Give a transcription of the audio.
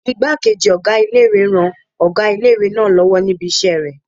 Ìgbákejì ọgá ilé-ìwé ń ran ọgá ilé-ìwé náà lọ́wọ́ níbi isẹ́ rẹ̀